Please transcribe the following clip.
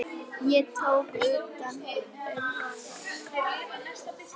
Ég tók utan um hana.